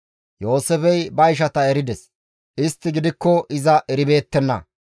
Yooseefey ba ishata erides; istti gidikko iza eribeettenna.